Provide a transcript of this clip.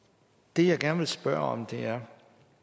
det jeg gerne vil spørge om er